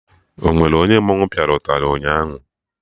Onwere onye mmanwụ pịa ụtarị ụnyaahụ?